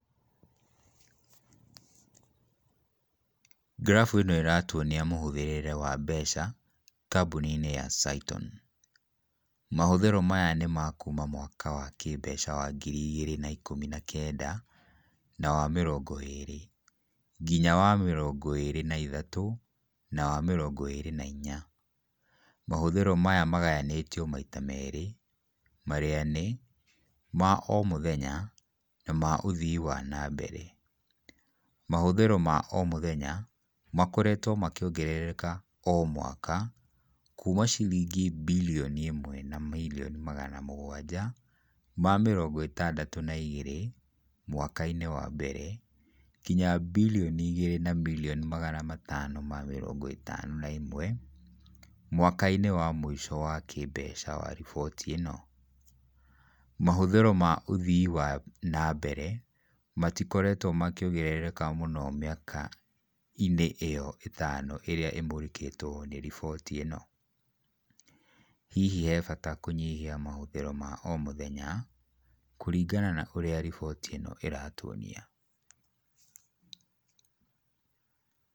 Graph ĩno ĩratuonia mũhũthĩrĩre wa mbeca kambũni-inĩ ya Saiton. Mahũthĩro maya nĩ ma kũũma mwaka wa kĩmbeca wa ngiri igĩrĩ na ikũmi na kenda na wa mĩrongo ĩĩrĩ nginya wa mĩrongo ĩĩrĩ na ithatũ na wa mĩrongo ĩĩrĩ na inya. Mahũthĩro maya magayanĩtio maita merĩ marĩa nĩ, ma o mũthenya, na ma ũthii wa na mbere. Mahũthĩro ma omũthenya, makoretwo makĩongerereka o mwaka kũũma ciringi birioni ĩmwe na mirioni magana mũgwanja ma mĩrongo ĩtandatũ na igĩrĩ mwaka-inĩ wa mbere ngĩnya birioni igĩrĩ na mirioni magana matano ma mĩrongo ĩtano na ĩmwe, mwaka-inĩ wa mũico wa kĩmbeca wa riboti ĩno. Mahũthĩro ma ũthii wa na mbere matikoretwo makĩongerereka mũno mĩaka-inĩ ĩyo ĩtano ĩrĩa ĩmũrĩkĩtwo nĩ riboti ĩno. Hihi he bata kũnyihia mahũthĩro ma omũthenya kũringana na ũrĩa riboti ĩno iratuonia.